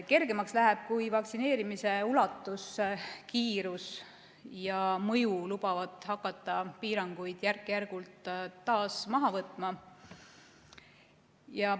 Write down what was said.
Kergemaks läheb, kui vaktsineerimise ulatus, kiirus ja mõju lubavad hakata piiranguid järk-järgult taas maha võtma.